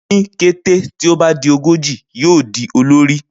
Ni kete ti o ba di ogoji, yoo di olori